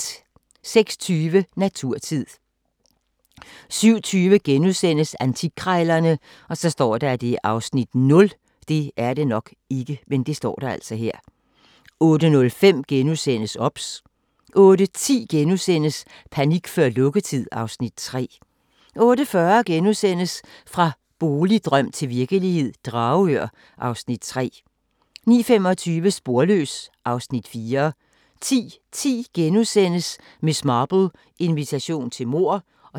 06:20: Naturtid 07:20: Antikkrejlerne (Afs. 0)* 08:05: OBS * 08:10: Panik før lukketid (Afs. 3)* 08:40: Fra boligdrøm til virkelighed - Dragør (Afs. 3)* 09:25: Sporløs (Afs. 4) 10:10: Miss Marple: Invitation til mord (0:20)*